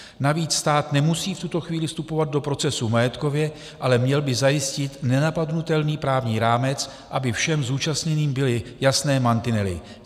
Navíc stát nemusí v tuto chvíli vstupovat do procesu majetkově, ale měl by zajistit nenapadnutelný právní rámec, aby všem zúčastněným byly jasné mantinely.